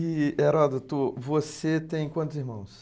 E, Heródoto, você tem quantos irmãos?